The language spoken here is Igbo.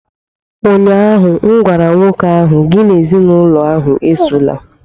ụnyahụ m gwara nwoke ahụ, gị na ezinụlọ ahụ esola!